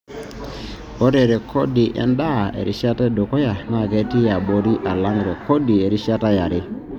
Ore rrekod endaa erishata edukuya naa ketii abori alang rrekod erishata yare.